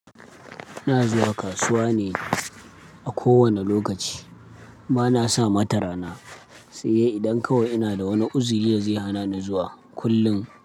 Ina zuwa kasuwa ne a kowane lokaci, ba na sa mata rana, sai idan kawai ina da wani uzuri da zai hana ni zuwa kullum.